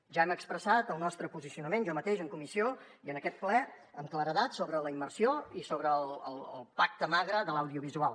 ja hem expressat el nostre posicionament jo mateix en comissió i en aquest ple amb claredat sobre la immersió i sobre el pacte magre de l’audiovisual